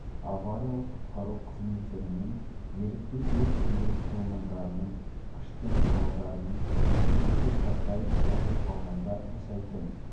авариялық-құтқару қызметтері мен ерікті өрт сөндіру құрылымдарының күш пен құралдарының төтенше жағдай орын алғанда жасайтын